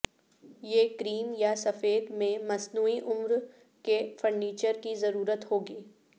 یہ کریم یا سفید میں مصنوعی عمر کے فرنیچر کی ضرورت ہوگی